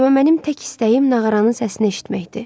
Amma mənim tək istəyim nağaranın səsini eşitməkdir.